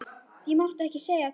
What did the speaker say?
Ég mátti ekki segja hvert.